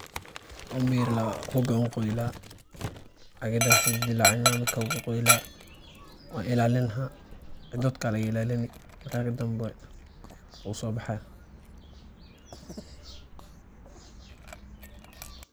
Umilaa hooga wuu qaayeelah, caagdan ayu deelacin kadib wuuqaayelah, wuu ilalenahay dadka Aya laga ilalini wuu so baxaya.